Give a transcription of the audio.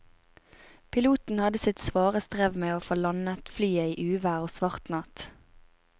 Piloten hadde sitt svare strev med å få landet flyet i uvær og svart natt.